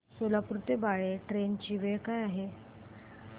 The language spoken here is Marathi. सोलापूर ते बाळे ट्रेन ची वेळ काय आहे